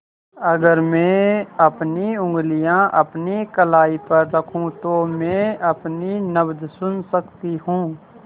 अगर मैं अपनी उंगलियाँ अपनी कलाई पर रखूँ तो मैं अपनी नब्ज़ सुन सकती हूँ